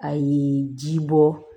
A ye ji bɔ